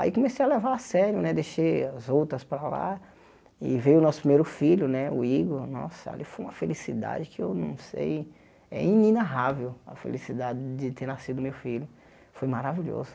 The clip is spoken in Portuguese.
Aí comecei a levar a sério né, deixei as outras para lá, e veio o nosso primeiro filho né, o Igor, nossa, ali foi uma felicidade que eu não sei, é inarravel a felicidade de ter nascido meu filho, foi maravilhoso.